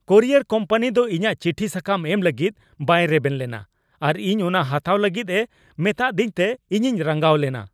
Courier company ᱫᱚ ᱤᱧᱟᱹᱜ ᱪᱤᱴᱷᱤ ᱥᱟᱠᱟᱢ ᱮᱢ ᱞᱟᱹᱜᱤᱫ ᱵᱟᱭ ᱨᱮᱵᱮᱱ ᱞᱮᱱᱟ ᱟᱨ ᱤᱧ ᱚᱱᱟ ᱦᱟᱛᱟᱣ ᱞᱟᱹᱜᱤᱫ ᱮ ᱢᱮᱛᱟ ᱫᱤᱧᱛᱮ ᱤᱧᱤᱧ ᱨᱟᱸᱜᱟᱣ ᱞᱮᱱᱟ ᱾